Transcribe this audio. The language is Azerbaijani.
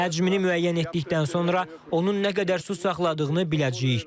Həcmini müəyyən etdikdən sonra onun nə qədər su saxladığını biləcəyik.